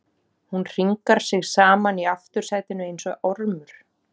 Hún hringar sig saman í aftursætinu einsog ormur.